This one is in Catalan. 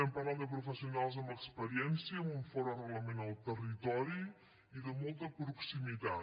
parlem de professionals amb experiència amb un fort arrelament al territori i de molta proximitat